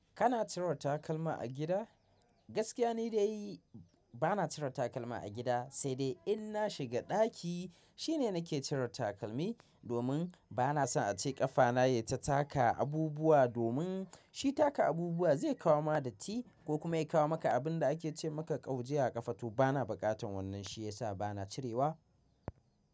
Kana cire takalma a gida? Gaskiya ne ni dai bana cire takalma a gida, sai dai in na shiga ɗaki shine nake cire takalmi, domin bana son ace ƙafana yai ta taka abubuwa, domin shi taka abubuwa zai kawo ma datti ko kuma ya kawo maka abun da ake ce maka ƙauje a ƙafa to. Bana buƙatan wannan shi yasa bana cirewa.